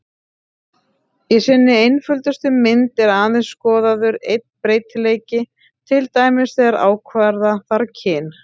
Í sinni einföldustu mynd er aðeins skoðaður einn breytileiki, til dæmis þegar ákvarða þarf kyn.